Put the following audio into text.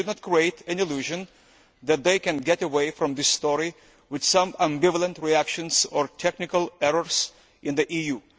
We should not create an illusion that they can get away from this story with some ambivalent reactions or technical errors in the EU.